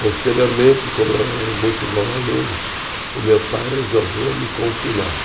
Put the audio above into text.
Posteriormente, como eu era um muito bom aluno, o meu pai resolveu me confinar.